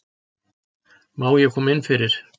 Má ég koma innfyrir?